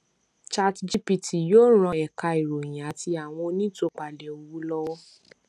chatgpt yóò ràn ẹka ìròyìn àti àwọn onítúpalẹ owó lówọ